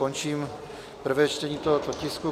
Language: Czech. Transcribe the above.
Končím prvé čtení tohoto tisku.